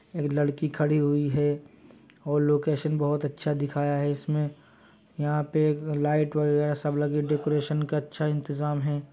लड़की खड़ी हुई है और लोकेशन बहुत अच्छा दिखाया है इसमें यहाँ पे लाईट वगैरा सब लगी। डेकोरेशन का अच्छा इंतजाम है।